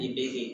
Nin bɛ kɛ